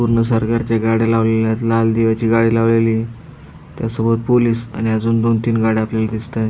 पूर्ण सरकारच्या गाड्या लावलेल्यात लाल दिव्याची गाडी लावलेलीय त्यासोबत पोलिस आणि अजून दोन तीन गाड्या आपल्याला दिसतात.